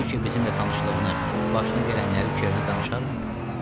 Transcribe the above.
Brije bizimlə tanışlığını, başına gələnləri Çernə danışarmı?